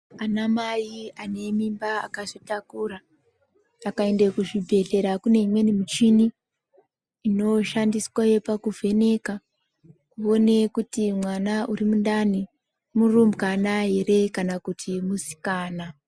Anamai ane mimba akazvitakura akaende kuzvibhedhleya kune imweni michini inoshandiswe pakuvheneka kuti uone kuti mwana uri mundani murumbwana ere kana kuti musikana.